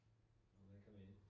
Må man komme ind